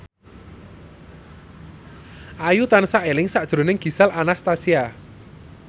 Ayu tansah eling sakjroning Gisel Anastasia